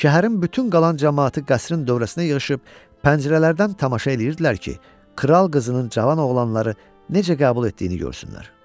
Şəhərin bütün qalan camaatı qəsrin dövrəsinə yığışıb pəncərələrdən tamaşa eləyirdilər ki, kral qızının cavan oğlanları necə qəbul etdiyini görsünlər.